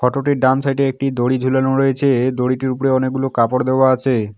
Photo -টির ডান side -এ একটি দড়ি ঝুলানো রয়েছে দড়িটির উপরে অনেকগুলো কাপড় দেওয়া আছে।